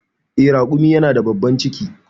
Eh, raƙumi yana da babban ciki.